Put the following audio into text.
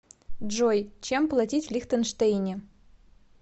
джой чем платить в лихтенштейне